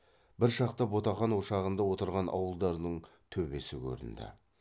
бір шақта ботақан ошағында отырған ауылдардың төбесі көрінді